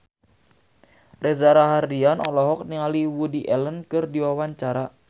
Reza Rahardian olohok ningali Woody Allen keur diwawancara